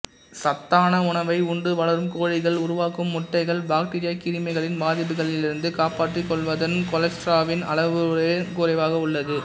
சத்தான உணவை உண்டு வளரும் கோழிகள் உருவாக்கும் முட்டைகள் பாக்டீரியா கிருமிகளின் பாதிப்புகளிலிருந்து காப்பாற்றிக்கொள்வதுடன் கொலஸ்ட்ராலின் அளவுன் குறைவாக உள்ளது